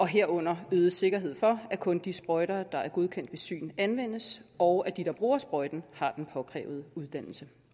herunder øget sikkerhed for at kun de sprøjter der er godkendt ved syn anvendes og at de der bruger sprøjterne har den påkrævede uddannelse